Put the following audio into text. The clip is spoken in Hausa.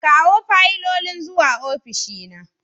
Kawo fayilolin zuwa ofishina.